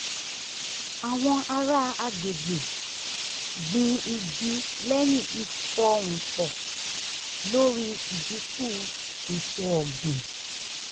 àwọn ará agbègbè gbin igi lẹ́yìn ìfọhùn pọ̀ lórí ìdinku èso ọgbìn